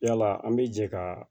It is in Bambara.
Yala an bɛ jɛ ka